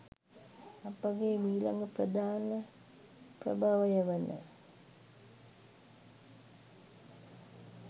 අපගේ මීළඟ ප්‍රධාන ප්‍රභවය වන